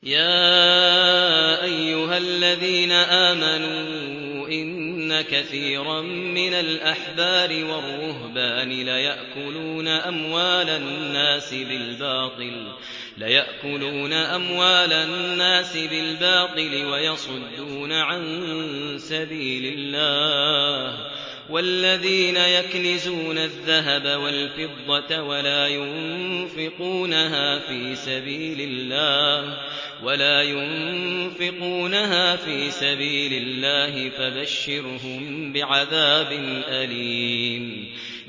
۞ يَا أَيُّهَا الَّذِينَ آمَنُوا إِنَّ كَثِيرًا مِّنَ الْأَحْبَارِ وَالرُّهْبَانِ لَيَأْكُلُونَ أَمْوَالَ النَّاسِ بِالْبَاطِلِ وَيَصُدُّونَ عَن سَبِيلِ اللَّهِ ۗ وَالَّذِينَ يَكْنِزُونَ الذَّهَبَ وَالْفِضَّةَ وَلَا يُنفِقُونَهَا فِي سَبِيلِ اللَّهِ فَبَشِّرْهُم بِعَذَابٍ أَلِيمٍ